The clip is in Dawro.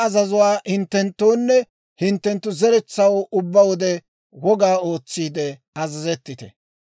«Hinttenttu ha azazuwaa hinttenttoonne hinttenttu zeretsaw ubbaa wode woga ootsiide azazettite.